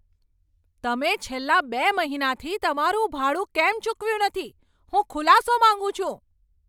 તમે છેલ્લા બે મહિનાથી તમારું ભાડું કેમ ચૂકવ્યું નથી? હું ખુલાસો માંગું છું.